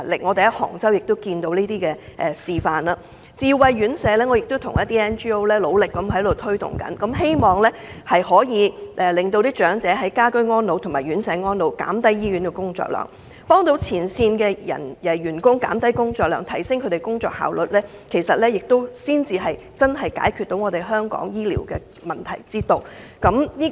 我們在杭州已看過這類示範，我亦向一些 NGO 努力推動智慧院舍，希望長者能夠在家居和院舍安老，減輕醫護人員、前線員工的工作量，提升工作效率，這才是真正解決香港醫療問題之道。